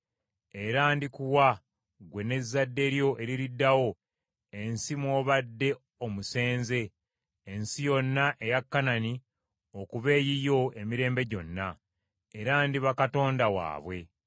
Era ndikuwa ggwe n’ezzadde lyo eririddawo ensi mw’obadde omusenze, ensi yonna eya Kanani, okuba eyiyo emirembe gyonna; era ndiba Katonda waabwe.”